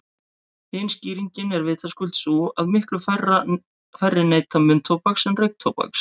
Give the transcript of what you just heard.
Hin skýringin er vitaskuld sú að miklu færri neyta munntóbaks en reyktóbaks.